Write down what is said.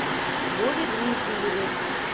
вове дмитриеве